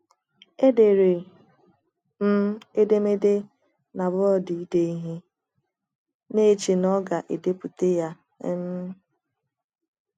Edere m edemede na bọọdụ ide ihe, na - eche na oga - edepụta ya. um